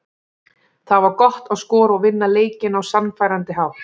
Það var gott að skora og vinna leikinn á sannfærandi hátt.